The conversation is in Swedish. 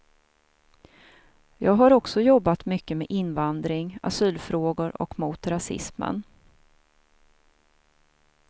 Jag har också jobbat mycket med invandring, asylfrågor och mot rasismen.